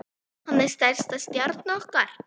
Hann er stærsta stjarna okkar.